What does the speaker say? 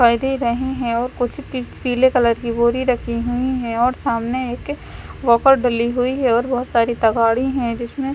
पर्दे रहे हैं और कुछ पीले कलर की बोरी रखी हुई हैं और सामने एक वॉकर डली हुई है और बहुत सारी तगाड़ी हैं जिसमें--